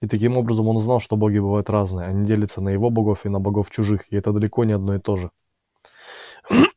и таким образом он узнал что боги бывают разные они делятся на его богов и на богов чужих и это далеко не одно и то же